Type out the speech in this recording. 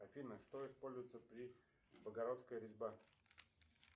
афина что используется при богородская резьба